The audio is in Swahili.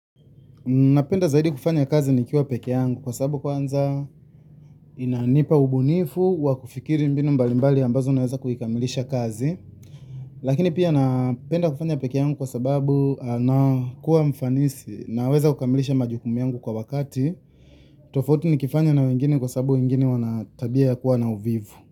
Napenda zaidi kufanya kazi nikiwa pekee yangu kwa sababu kwanza inanipa ubunifu wa kufikiri mbinu mbalimbali ambazo naweza kuikamilisha kazi lakini pia napenda kufanya pekee yangu kwa sababu nakuwa mfanisi naweza kukamilisha majukumu yangu kwa wakati. Tofauti nikifanya na wengine kwa sababu wengine wana tabia ya kuwa na uvivu.